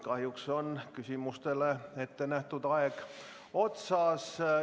Kahjuks on küsimustele ette nähtud aeg otsas.